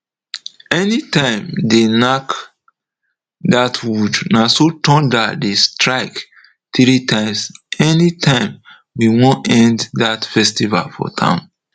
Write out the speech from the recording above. anytime they nack that wood naso thunder dey strike three times anytime we wan end that festival for town